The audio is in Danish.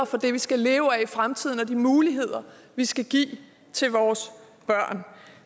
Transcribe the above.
for det vi skal leve af i fremtiden og de muligheder vi skal give til vores børn